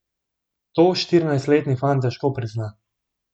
To štirinajstletni fant težko prizna.